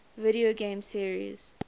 video game series